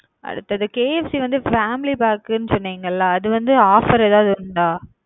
அடுத்தது KFC வந்து family pack னு சொன்னீங்க ல அது வந்து offer ஏதாது உண்டா?